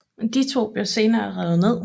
De to blev senere revet ned